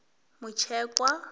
mutshekwa